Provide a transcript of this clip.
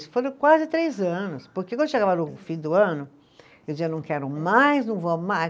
Isso foram quase três anos, porque quando chegava no fim do ano, eu dizia, não quero mais, não vou mais.